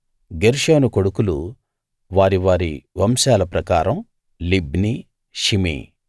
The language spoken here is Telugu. గెర్షోను కొడుకులు వారి వారి వంశాల ప్రకారం లిబ్నీ షిమీ